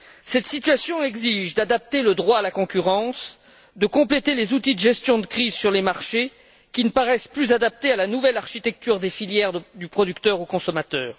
Cette situation exige d'adapter le droit de la concurrence, de compléter les outils de gestion de crise sur les marchés, qui ne paraissent plus adaptés à la nouvelle architecture des filières reliant le producteur au consommateur.